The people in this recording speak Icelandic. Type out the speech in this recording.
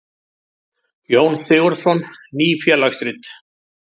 Jón Sigurðsson: Ný félagsrit.